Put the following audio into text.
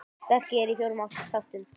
Verkið er í fjórum þáttum.